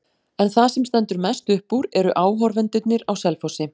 En það sem stendur mest upp úr eru áhorfendurnir á Selfossi.